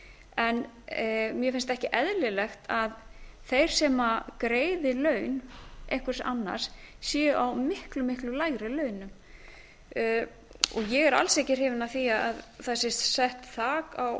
en mér finnst ekki eðlilegt að þeir sem greiði laun einhvers annars séu á miklu miklu lægri launum og ég er alls ekki hrifin af því að það sé sett þak á